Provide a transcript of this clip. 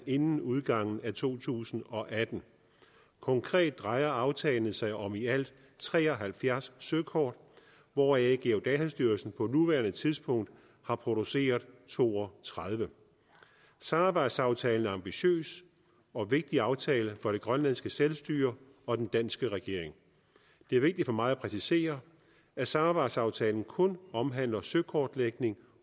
inden udgangen af to tusind og atten konkret drejer aftalen sig om i alt tre og halvfjerds søkort hvoraf geodatastyrelsen på nuværende tidspunkt har produceret to og tredive samarbejdsaftalen er en ambitiøs og vigtig aftale for det grønlandske selvstyre og den danske regering det er vigtigt for mig at præcisere at samarbejdsaftalen kun omhandler søkortlægning